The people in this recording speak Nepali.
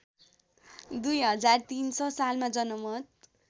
२०३६ सालमा जनमत